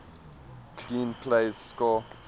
clean plays score